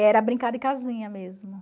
Era brincar de casinha mesmo.